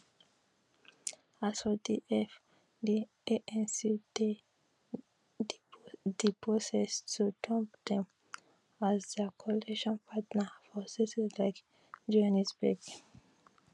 as for di eff di anc dey di process to dump dem as dia coalition partner for cities like johannesburg